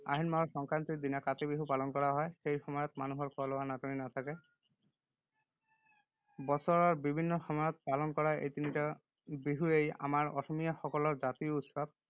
আহিন মাহৰ সংক্ৰান্তিৰ দিনা কাতি বিহু পালন কৰা হয়। সেই সময়ত মানুহৰ খোৱা-লোৱাৰ নাটনি নাথাকে৷ বছৰৰ বিভিন্ন সময়ত পালন কৰা এই তিনিটা বিহুৱেই আমাৰ অসমীয়াসকলৰ জাতীয় উৎসৱ।